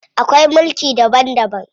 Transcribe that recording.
Akwai mulki daban daban.